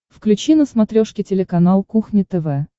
включи на смотрешке телеканал кухня тв